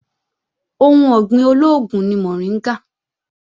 Ohun ọ̀gbìn olóògùn ni mọ̀ríngà